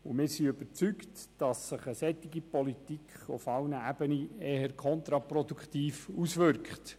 Wir sind überzeugt, dass sich eine solche Politik auf allen Ebenen eher kontraproduktiv auswirkt.